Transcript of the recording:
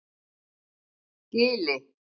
Gili